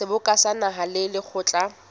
seboka sa naha le lekgotla